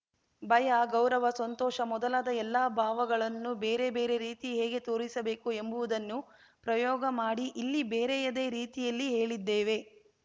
ಭಯ ಗೌರವ ಸಂತೋಷ ಮೊದಲಾದ ಎಲ್ಲಾ ಭಾವಗಳನ್ನೂ ಬೇರ ಬೇರೆ ರೀತಿ ಹೇಗೆ ತೋರಿಸಬೇಕು ಎಂಬುವುದನ್ನು ಪ್ರಯೋಗ ಮಾಡಿ ಇಲ್ಲಿ ಬೇರೆಯದ್ದೇ ರೀತಿಯಲ್ಲಿ ಹೇಳಿದ್ದೇವೆ